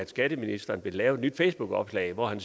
skatteministeren ville lave et nyt facebookopslag hvor han